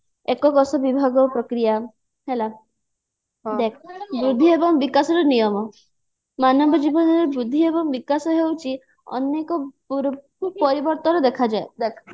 ଏକ କୋଷ ବିଭାଗ ପ୍ରକ୍ରିୟା ହେଲା ଦେଖ ବୃଦ୍ଧି ଏବଂ ବିକାଶର ନିୟମ ମାନବ ଜୀବନରେ ବୃଦ୍ଧି ଏବଂ ବିକାଶ ହଉଛି ଅନେକ ପରିବର୍ତ୍ତନ ଦେଖାଯାଏ